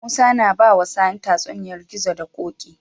Musa na bawa sani tatsuniyar gizo da koki